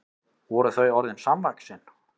Voru þau orðin samvaxin?